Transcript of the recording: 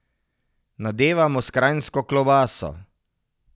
Nadevamo s kranjsko klobaso.